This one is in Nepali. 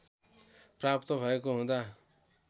प्राप्त भएको हुँदा